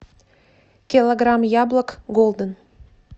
килограмм яблок голден